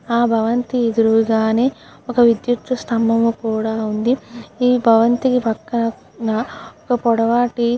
ఆ భవంతి ఎదురుగానే ఒక విద్యుత్ స్తంభం కూడా ఉంది. ఈ భవంతి పక్కన ఓ పొడవాటి --